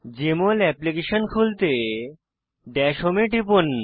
JML application খুলতে dash home এ টিপুন